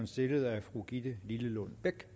stillet af fru gitte lillelund bech